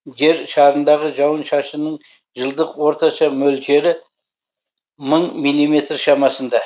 жер шарындағы жауын шашынның жылдық орташа мөлшері мың миллиметр шамасында